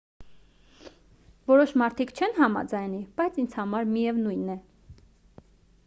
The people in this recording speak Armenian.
որոշ մարդիկ չեն համաձայնի բայց ինձ համար միևնույն է